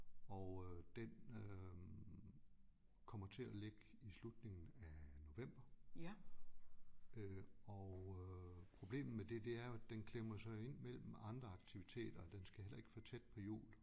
Og øh den øh kommer til at ligge i slutningen af november øh og øh problemet med det det er jo at den klemmer sig ind mellem andre aktiviteter den skal heller ikke for tæt på jul